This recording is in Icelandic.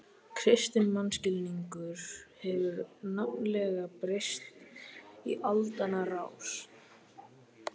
Kristinn mannskilningur hefur nefnilega breyst í aldanna rás.